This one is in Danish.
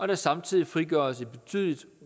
der samtidig frigøres et betydeligt